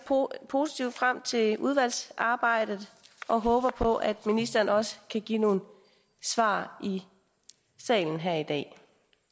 positivt frem til udvalgsarbejdet og håber på at ministeren også kan give nogle svar i salen her i dag